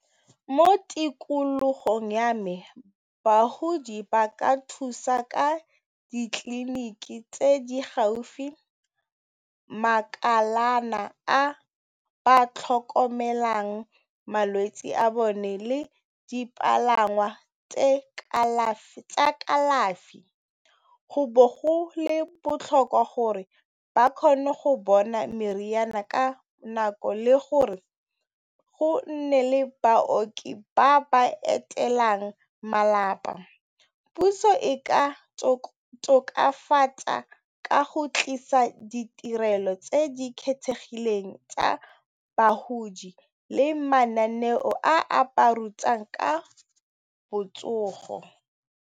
Mo tikologong ya me bagodi ba ka thusiwa ka ditliliniki tse di gaufi, makalana a ba tlhokomelang malwetse a bone le dipalangwa tsa kalafi. Go botlhokwa gore ba kgone go bona meriana ka nako le gore go nne le baoki ba ba etelang malapa. Puso e ka tokafatsa ka go tlisa ditirelo tse di kgethegileng tsa bagodi le mananeo a ba ba rutang ka botsogo.